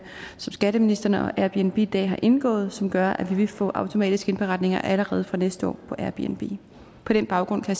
skatteministeren og airbnb i dag har indgået som gør at vi vil få automatiske indberetninger allerede fra næste år fra airbnb på den baggrund kan